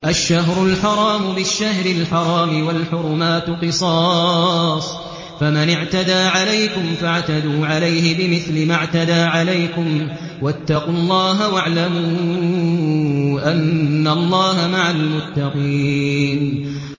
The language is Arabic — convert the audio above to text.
الشَّهْرُ الْحَرَامُ بِالشَّهْرِ الْحَرَامِ وَالْحُرُمَاتُ قِصَاصٌ ۚ فَمَنِ اعْتَدَىٰ عَلَيْكُمْ فَاعْتَدُوا عَلَيْهِ بِمِثْلِ مَا اعْتَدَىٰ عَلَيْكُمْ ۚ وَاتَّقُوا اللَّهَ وَاعْلَمُوا أَنَّ اللَّهَ مَعَ الْمُتَّقِينَ